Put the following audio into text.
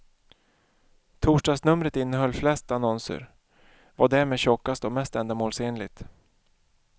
Torsdagsnumret innehöll flest annonser, var därmed tjockast och mest ändamålsenligt.